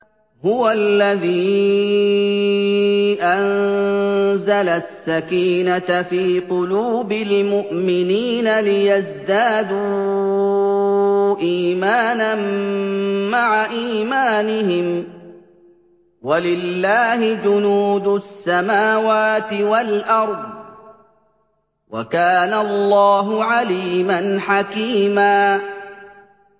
هُوَ الَّذِي أَنزَلَ السَّكِينَةَ فِي قُلُوبِ الْمُؤْمِنِينَ لِيَزْدَادُوا إِيمَانًا مَّعَ إِيمَانِهِمْ ۗ وَلِلَّهِ جُنُودُ السَّمَاوَاتِ وَالْأَرْضِ ۚ وَكَانَ اللَّهُ عَلِيمًا حَكِيمًا